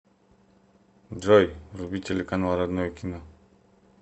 джой вруби телеканал родное кино